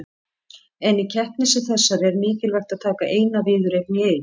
En í keppni sem þessari er mikilvægt að taka eina viðureign í einu.